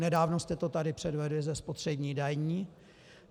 Nedávno jste to tady předvedli se spotřební daní.